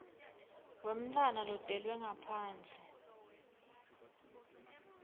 wemntfwana lotelwe ngaphandle